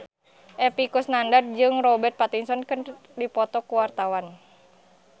Epy Kusnandar jeung Robert Pattinson keur dipoto ku wartawan